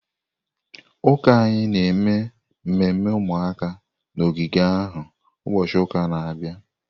Ụka anyị na-eme mmemme ụmụaka na ogige ahụ ụbọchị ụka na-abịa.